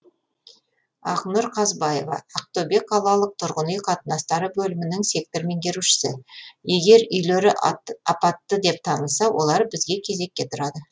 ақнұр қазбаева ақтөбе қалалық тұрғын үй қатынастары бөлімінің сектор меңгерушісі егер үйлері апатты деп танылса олар бізге кезекке тұрады